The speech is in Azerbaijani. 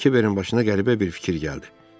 Kiberin başına qəribə bir fikir gəldi.